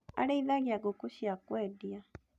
Arĩithagia ngũkũ cia kwendia